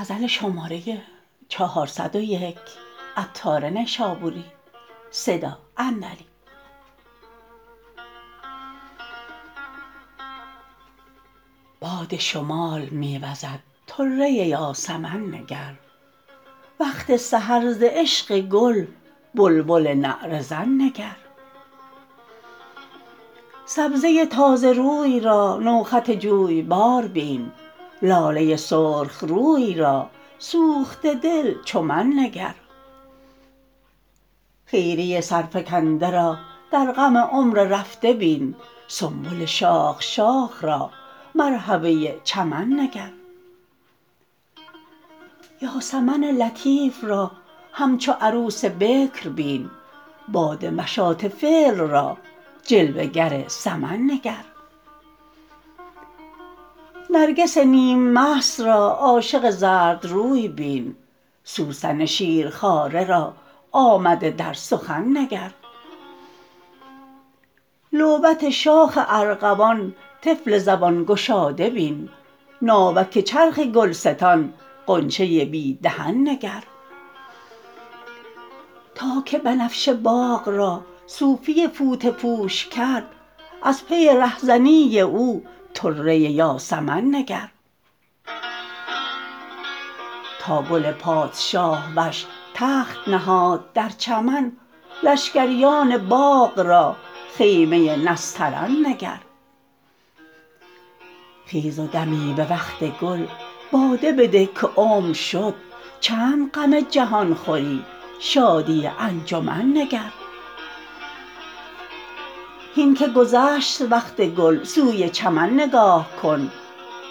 باد شمال می وزد طره یاسمن نگر وقت سحر ز عشق گل بلبل نعره زن نگر سبزه تازه روی را نو خط جویبار بین لاله سرخ روی را سوخته دل چو من نگر خیری سرفکنده را در غم عمر رفته بین سنبل شاخ شاخ را مروحه چمن نگر یاسمن دوشیزه را همچو عروس بکر بین باد مشاطه فعل را جلوه گر سمن نگر نرگس نیم مست را عاشق زرد روی بین سوسن شیرخواره را آمده در سخن نگر لعبت شاخ ارغوان طفل زبان گشاده بین ناوک چرخ گلستان غنچه بی دهن نگر تا که بنفشه باغ را صوفی فوطه پوش کرد از پی ره زنی او طره یاسمن نگر تا گل پادشاه وش تخت نهاد در چمن لشکریان باغ را خیمه نسترن نگر خیز و دمی به وقت گل باده بده که عمر شد چند غم جهان خوری شادی انجمن نگر هین که گذشت وقت گل سوی چمن نگاه کن